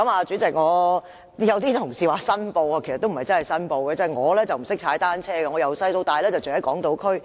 主席，有同事說要申報，其實也不是真正申報：我不懂踏單車，我從小到大都住在港島區。